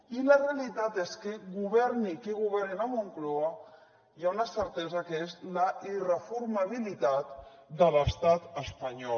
i la realitat és que governi qui governi a la moncloa hi ha una certesa que és la irreformabilitat de l’estat espanyol